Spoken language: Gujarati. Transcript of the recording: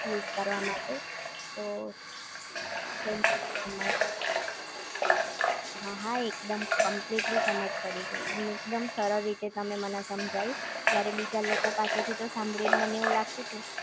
યુઝ કરવા માટે તો થેન્ક યૂ સો મચ, હા, હા એકદમ કમ્પલિટલી સમજ પડી ગઈ, અને એકદમ સરળ રીતે તમે મને સમજાવ્યું જ્યારે બીજાલોકો પાસે થી તો સાંભળી ને મને એવું લાગતું તું